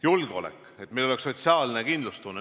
Julgeolek, et meil oleks sotsiaalne kindlustunne.